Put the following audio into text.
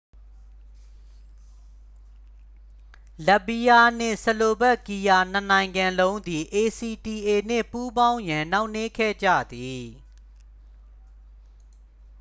လတ်ဗီးယားနှင့် ဆလိုဗက်ကီးယား နှစ်နိုင်ငံလုံးသည် acta နှင့် ပူးပေါင်းရန် နှောင့်နှေးခဲ့ကြသည်